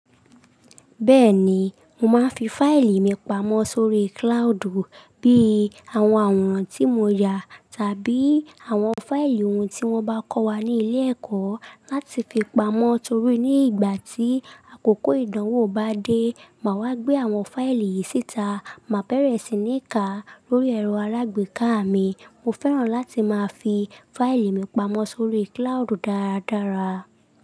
Bẹ́ẹ̀ni, mo máa ń fi fáìlì mi pamọ́ sórí cloudu bí i àwọn àwòrán tí mo yà tàbí àwọn fáìlì ohun tí wọ́n bá kọ́ wa ní ilé ẹ̀kọ́ láti fi pamọ́ torí ní ìgbà tí àkókò ìdánwò bá dé, màá wá gbé àwọn fáìlì yìí síta, màá bẹ̀rẹ̀ sí ní ká lórí ẹ̀rọ alágbèéká mi. Mo fẹ́ràn láti máa fi fáìlì mi pamọ́ sórí cloudu dáradára.